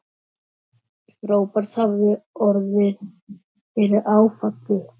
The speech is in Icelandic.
Róbert hafði orðið fyrir áfalli.